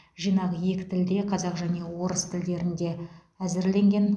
жинақ екі тілде қазақ және орыс тілдерінде әзірленген